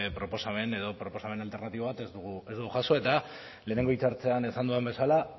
proposamen edo proposamen alternatibo bat ez dugu jaso eta lehenengo hitzartzean esan dudan bezala